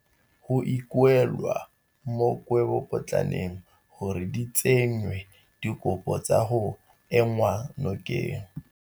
Go ikuelwa mo dikgwebopotlaneng gore di tsenye dikopo tsa go enngwa nokeng.